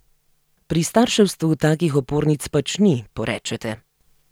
Pri starševstvu takih opornic pač ni, porečete.